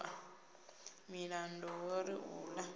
miṱada ho ri u ḓa